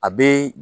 A be